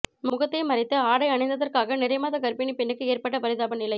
முகத்தை மறைத்து ஆடை அணிந்ததற்காக நிறைமாத கர்ப்பிணிப் பெண்ணுக்கு ஏற்பட்ட பிரிதாப நிலை